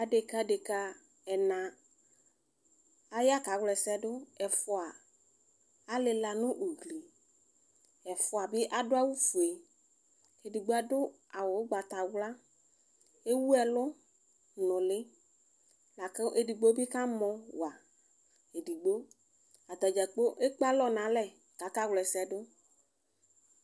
Adeka adeka ɛnɛ aya kawla ɛsɛ dʋ ɛfʋa alila nʋ ʋgli ɛfʋabi adʋ awʋfue edigbo adʋ awʋ ʋgbatawla ewʋ ɛlʋ nʋ ʋli lakʋ edigbibi ka mɔ wa edigbo ata dzagblo ekpe alɔ nʋ alɛ kʋ akawla ɛsɛ dʋ